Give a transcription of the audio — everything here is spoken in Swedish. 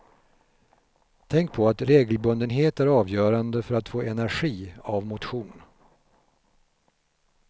Tänk på att regelbundenhet är avgörande för att få energi av motion.